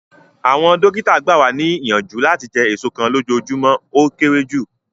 Awọn dokita gba wa niyanju lati jẹ eso kan lojoojumọ o kere ju